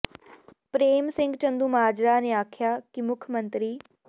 ਪ੍ਰੇਮ ਸਿੰਘ ਚੰਦੂਮਾਜਰਾ ਨੇ ਆਖਿਆ ਕਿ ਮੁੱਖ ਮੰਤਰੀ ਸ